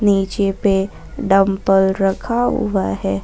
नीचे पे डम्बल रखा हुआ है।